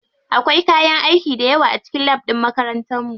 Akwai kayan aiki dayawa a cikin lab ɗin makarantar mu.